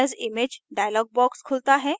save as image dialog box खुलता है